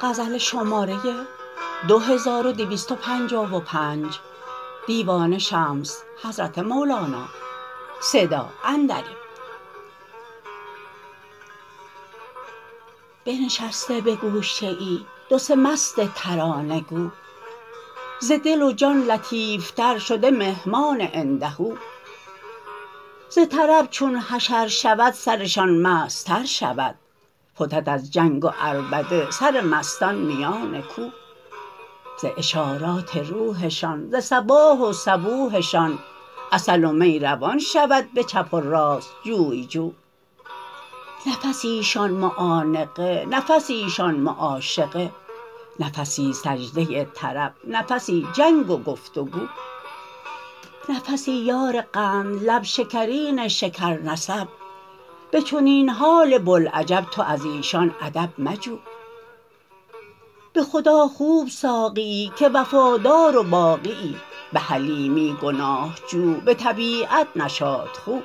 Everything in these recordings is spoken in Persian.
بنشسته به گوشه ای دو سه مست ترانه گو ز دل و جان لطیفتر شده مهمان عنده ز طرب چون حشر شود سرشان مستتر شود فتد از جنگ و عربده سر مستان میان کو ز اشارات روحشان ز صباح و صبوحشان عسل و می روان شود به چپ و راست جوی جو نفسیشان معانقه نفسیشان معاشقه نفسی سجده طرب نفسی جنگ و گفت و گو نفسی یار قندلب شکرین شکرنسب به چنین حال بوالعجب تو از ایشان ادب مجو به خدا خوب ساقیی که وفادار و باقیی به حلیمی گناه جو به طبیعت نشاط خو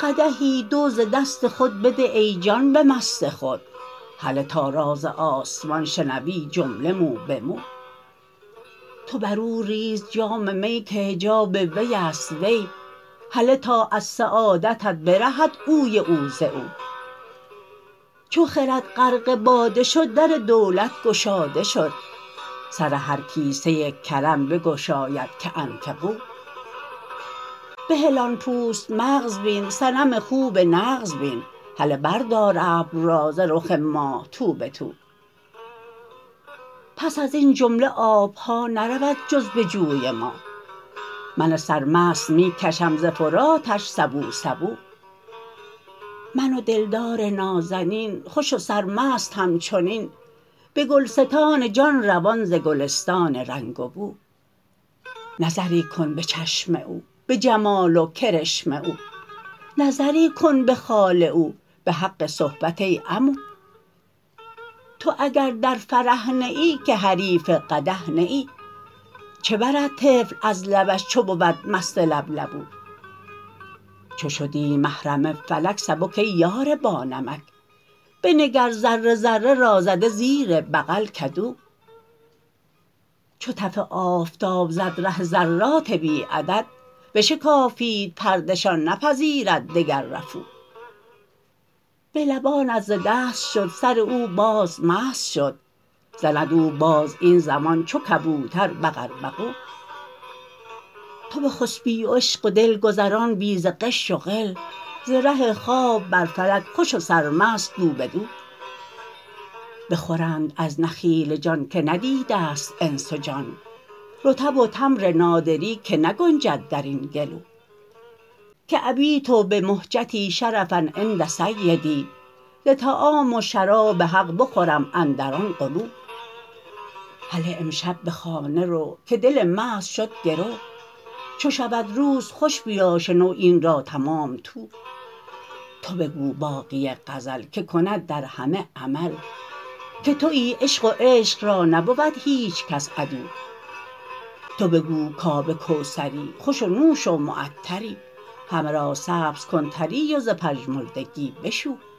قدحی دو ز دست خود بده ای جان به مست خود هله تا راز آسمان شنوی جمله مو به مو تو بر او ریز جام می که حجاب وی است وی هله تا از سعادتت برهد اوی او ز او چو خرد غرق باده شد در دولت گشاده شد سر هر کیسه کرم بگشاید که انفقوا بهل آن پوست مغز بین صنم خوب نغز بین هله بردار ابر را ز رخ ماه تو به تو پس از این جمله آب ها نرود جز بجوی ما من سرمست می کشم ز فراتش سبو سبو من و دلدار نازنین خوش و سرمست همچنین به گلستان جان روان ز گلستان رنگ و بو نظری کن به چشم او به جمال و کرشم او نظری کن به خال او به حق صحبت ای عمو تو اگر در فرح نه ای که حریف قدح نه ای چه برد طفل از لبش چو بود مست لبلبو چو شدی محرم فلک سبک ای یار بانمک بنگر ذره ذره را زده زیر بغل کدو چو تف آفتاب زد ره ذرات بی عدد بشکافید پرده شان نپذیرد دگر رفو به لبانت ز دست شد سر او باز مست شد زند او باز این زمان چو کبوتر بقوبقو تو بخسپی و عشق و دل گذران بی ز غش و غل ز ره خواب بر فلک خوش و سرمست دو به دو بخورند از نخیل جان که ندیده ست انس و جان رطب و تمر نادری که نگنجد در این گلو که ابیت بمهجتی شرفا عند سیدی ز طعام و شراب حق بخورم اندر آن غلو هله امشب به خانه رو که دل مست شد گرو چو شود روز خوش بیا شنو این را تمام تو تو بگو باقی غزل که کند در همه عمل که توی عشق و عشق را نبود هیچ کس عدو تو بگو کآب کوثری خوش و نوش و معطری همه را سبز کن طری و ز پژمردگی بشو